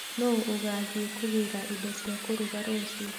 Nũũ ũgathiĩ kũgĩra indo cia kũruga rũciu?